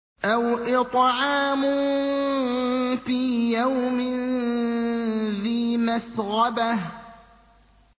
أَوْ إِطْعَامٌ فِي يَوْمٍ ذِي مَسْغَبَةٍ